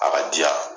A ka di yan